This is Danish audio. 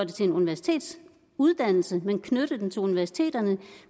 til en universitetsuddannelse men knytte den til universiteterne